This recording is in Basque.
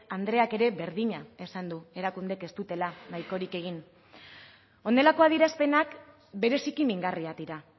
andreak ere berdina esan du erakundeek ez dutela nahikorik egin honelako adierazpenak bereziki mingarriak dira